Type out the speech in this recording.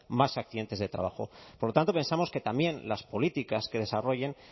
más accidentes de trabajo por lo tanto pensamos que también las políticas que desarrollen